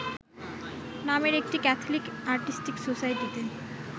নামের একটি Catholic artistic সোসাইটিতে